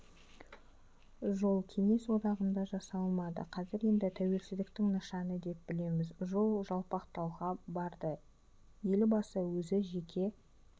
жол кеңес одағында жасалмады қазір енді тәуелсіздіктің нышаны деп білеміз жол жалпақталға барды елбасы өзі жеке